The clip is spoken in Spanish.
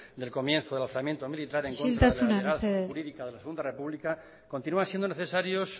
del comienzo del alzamiento militar isiltasuna mesedez en contra de la legalidad jurídica de la segunda república continúan siendo necesarios